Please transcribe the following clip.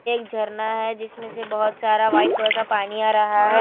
एक झरना है जिसमें से बहुत सारा वाइट कलर का पानी आ रहा है।